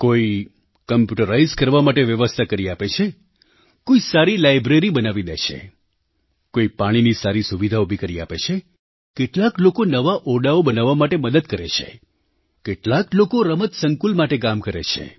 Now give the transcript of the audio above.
કોઈ કમ્પ્યૂટરાઇઝ્ડ કરવા માટે વ્યવસ્થા કરી આપે છે કોઈ સારી લાઇબ્રેરી બનાવી દે છે કોઈ પાણીની સારી સુવિધા ઊભી કરી આપે છે કેટલાક લોકો નવા ઓરડાઓ બનાવવા માટે મદદ કરે છે કેટલાક લોકો રમત સંકુલ માટે કામ કરે છે